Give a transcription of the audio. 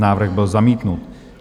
Návrh byl zamítnut.